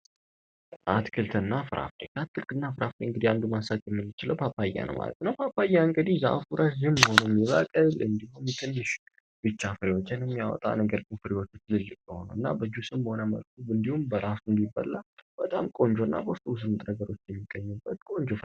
አትክልትና ፍራፍሬ አትክክልና ፍራፍሬ ውስጥ ማንሳት የምንችለው ፓፓያ ማለት ነው ፓፓያ እንግዲህ ትንሽ ብቻ ነገሮችን የሚያወጣ እና በጁስ መልኩም ሆነ በራሱ የሚበላ በጣም ቆንጆ የሆነና ጥሩ ነገሮች የሚገኝበት ቆንጆ የሆነ አትክልት ነው።